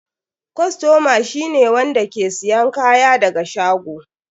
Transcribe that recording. Kostoma shi ne wanda ke siyan kaya daga shago.